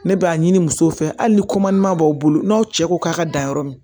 Ne b'a ɲini musow fɛ hali ni b'aw bolo n'aw cɛ ko k'a ka dan yɔrɔ min